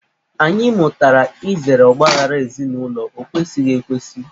Anyị mụtara izere ọgbaaghara ezinụlọ, ọ kwesighị ekwesị.